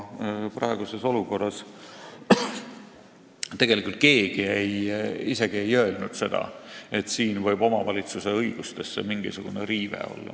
Praeguses olukorras ei ole keegi isegi öelnud seda, et siin võib omavalitsuse õigustes mingisugune riive olla.